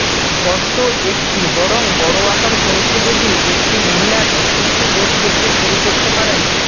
গর্ত একটি বরং বড় আকার পৌঁছে যদি একটি মহিলার অস্বস্তি বোধ করতে শুরু করতে পারেন